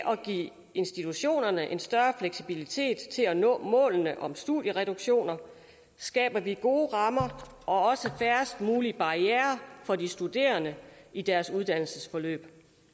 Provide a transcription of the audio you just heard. at give institutionerne en større fleksibilitet til at nå målene om studiereduktioner skaber vi gode rammer og også færrest mulige barrierer for de studerende i deres uddannelsesforløb